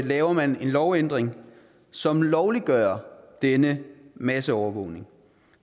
laver man en lovændring som lovliggør denne masseovervågning